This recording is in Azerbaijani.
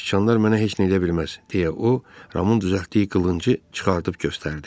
Siçanlar mənə heç nə eləyə bilməz deyə o, Ramunun düzəltdiyi qılıncı çıxardıb göstərdi.